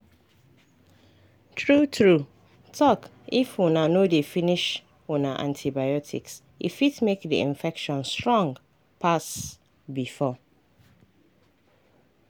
true true talkif una no dey finish una antibiotics e fit make the infection strong pass before.